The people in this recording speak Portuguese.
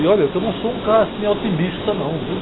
E olha, eu não sou um cara assim, otimista não, viu?